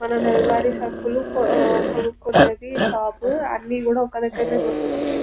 మనము నెలవారి సరుకులు కొనుక్కునే ది షాప్ అన్ని కూడా ఒక దగ్గరనే దొరుకుతాయి.